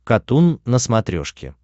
катун на смотрешке